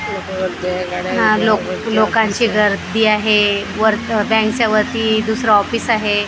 न लोक लोकांची गर्दी आहे वर बँकच्या वरती दुसरं ऑफिस आहे.